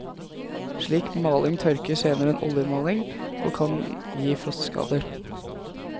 Slik maling tørker senere enn oljemaling og kan gi frostskader.